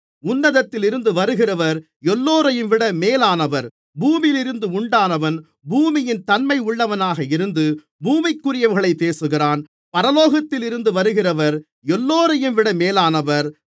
உன்னதத்திலிருந்து வருகிறவர் எல்லோரையும்விட மேலானவர் பூமியிலிருந்து உண்டானவன் பூமியின் தன்மை உள்ளவனாக இருந்து பூமிக்குரிவைகளைப் பேசுகிறான் பரலோகத்தில் இருந்து வருகிறவர் எல்லோரையும்விட மேலானவர்